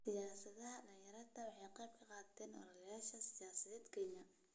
Siyaasadaha dhalinyaradu waxay qayb ka noqdeen ololayaasha siyaasadeed ee Kenya.